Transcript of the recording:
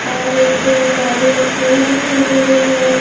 और एक गाड़ी एक्टिवा दिखाई दे रही है।